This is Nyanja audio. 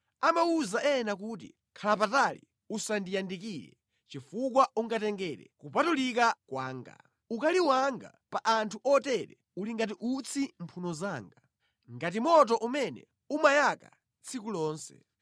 Amawuza ena kuti, ‘Khala patali usandiyandikire, chifukwa ungatengere kupatulika kwanga!’ Ukali wanga pa anthu otere uli ngati utsi mphuno zanga, ngati moto umene umayaka tsiku lonse.